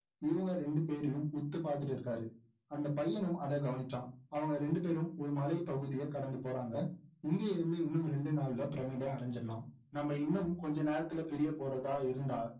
இவங்க ரெண்டுபேரையும் உத்து பாத்துட்டு இருக்கிறாரு அந்த பையனும் அதை கவனிச்சான் அவங்க ரெண்டுபேரும் ஒரு மலைபகுதியை கடந்து போறாங்க இங்க இருந்து இன்னும் இரண்டு நாள்ல பிரமிடை அடைந்துவிடலாம் நம்ம இன்னும் கொஞ்ச நேரத்துல பிரியப்போறதா இருந்தா